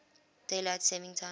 daylight saving time